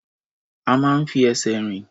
A máa ń fi ẹsẹ̀ rìn.